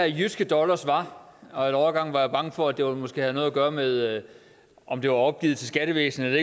jyske dollars var og en overgang var jeg bange for at det måske havde noget at gøre med om det var opgivet til skattevæsenet eller